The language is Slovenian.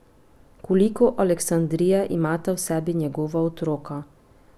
Koliko Aleksandrije imata v sebi njegova otroka?